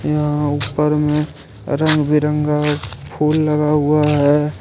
यहां उपर में रंग बिरंगा फुल लगा हुआ है।